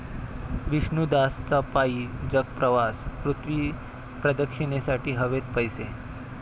विष्णूदासचा पायी जगप्रवास, पृथ्वी प्रदक्षिणेसाठी हवेत पैसे